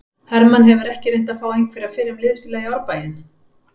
Hermann hefur ekki reynt að fá einhverja fyrrum liðsfélaga í Árbæinn?